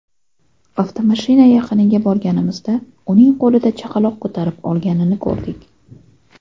Avtomashina yaqiniga borganimizda, uning qo‘lida chaqaloq ko‘tarib olganini ko‘rdik”.